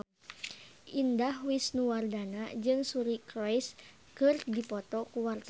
Indah Wisnuwardana jeung Suri Cruise keur dipoto ku wartawan